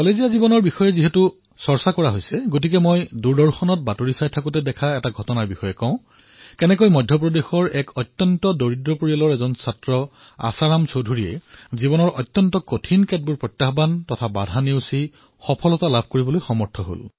এই মহাবিদ্যালয়ৰ অধিৱেশনৰ কথা চলি থকাৰ সময়তে মই বাতৰিত দেখা পালো যে কিদৰে মধ্যপ্ৰদেশৰ এক অত্যন্ত দুখীয়া পৰিয়ালৰ এক ছাত্ৰ আশাৰাম চৌধুৰীয়ে জীৱনৰ কঠিনতম প্ৰত্যাহ্বান অতিক্ৰমি সফলতা প্ৰাপ্ত কৰিছে